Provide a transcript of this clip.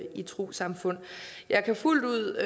i trossamfund jeg kan fuldt ud